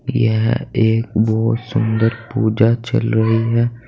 यह एक बहुत सुंदर पूजा चल रही है।